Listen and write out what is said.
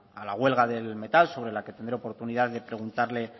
a la huelga del metal sobre la que tendré oportunidad de preguntarle